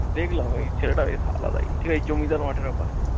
দেখলাম ঐ ছেলেটা বেশ আলাদাই ঠিকাছে জমিদার